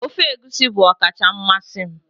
ofe egusi bụ ọkacha mmasị m